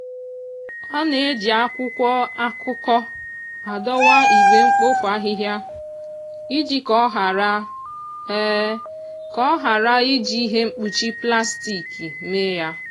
ọ na-eji akwụkwọ akụkọ adọwa igbe mkpofu ahịhịa iji ka ọ ghara ka ọ ghara iji ihe mkpuchi plastik mee ya.